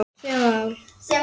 Tvö mál.